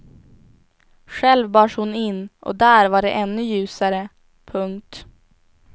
Själv bars hon in och där var det ännu ljusare. punkt